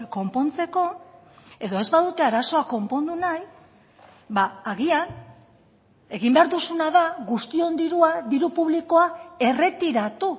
konpontzeko edo ez badute arazoa konpondu nahi agian egin behar duzuna da guztion dirua diru publikoa erretiratu